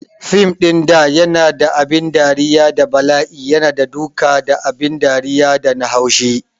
Fim ɗin da yana da abin dariya da bala'i yana da duka abin dariya da na haushi